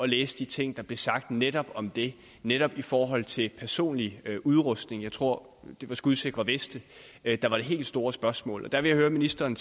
læse de ting der blev sagt netop om det netop i forhold til personlig udrustning jeg tror det var skudsikre veste der var det helt store spørgsmål jeg vil høre ministeren